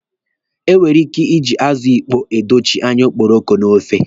E nwere ike iji azụ ịkpọ adochi anya okporoko n'ofe.